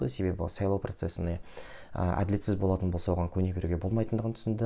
себебі сайлау процесіне ы әділетсіз болатын болса оған көне беруге болмайтынындығын түсінді